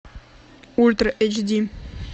ультра эйч ди